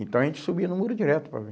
Então a gente subia no muro direto para ver.